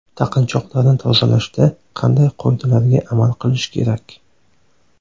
Taqinchoqlarni tozalashda qanday qoidalarga amal qilish kerak?